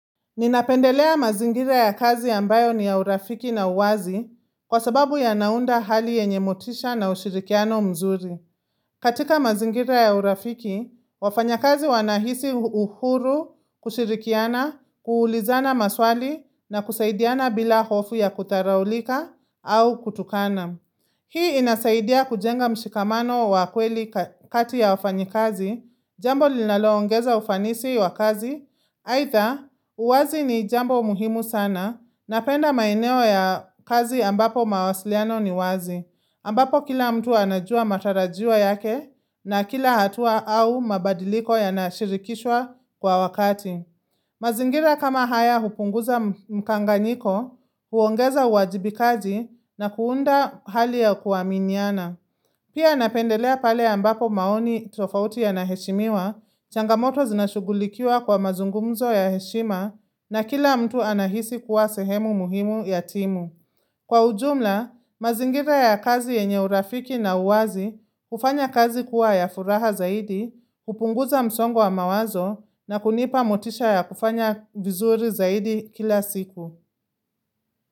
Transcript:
Ninapendelea mazingira ya kazi ambayo ni ya urafiki na uwazi kwa sababu yanaunda hali yenye motisha na ushirikiano mzuri. Katika mazingira ya urafiki, wafanyakazi wanahisi uhuru kushirikiana, kuulizana maswali na kusaidiana bila hofu ya kutharaulika au kutukana. Hii inasaidia kujenga mshikamano wa kweli kati ya wafanyikazi, jambo linaloongeza ufanisi wa kazi, aitha uwazi ni jambo muhimu sana, napenda maeneo ya kazi ambapo mawasiliano ni wazi, ambapo kila mtu anajua matarajiwa yake na kila hatua au mabadiliko yanashirikishwa kwa wakati. Mazingira kama haya hupunguza mkanganyiko, huongeza uwajibikaji na kuunda hali ya kuaminiana. Pia napendelea pale ambapo maoni tofauti yanaheshimiwa, changamoto zinashugulikiwa kwa mazungumzo ya heshima na kila mtu anahisi kuwa sehemu muhimu ya timu. Kwa ujumla, mazingira ya kazi yenye urafiki na uwazi hufanya kazi kuwa ya furaha zaidi, kupunguza msongo wa mawazo na kunipa motisha ya kufanya vizuri zaidi kila siku.